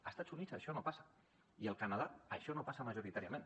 a estats units això no passa i al canadà això no passa majoritàriament